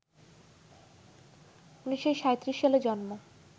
১৯৩৭ সালে জন্ম